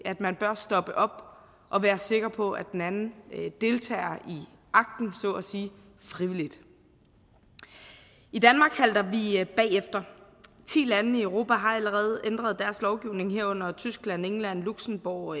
at man bør stoppe op og være sikker på at den anden deltager i akten så at sige frivilligt i danmark halter vi bagefter ti lande i europa har allerede ændret deres lovgivning herunder tyskland england luxembourg